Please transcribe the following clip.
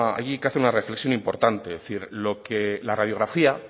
hay que hacer una reflexión importante es decir lo que la radiografía